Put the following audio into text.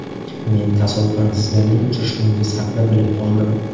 Men tasodifan sizlarning uchrashuvingiz haqida bilib qoldim.